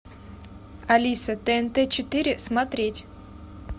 алиса тнт четыре смотреть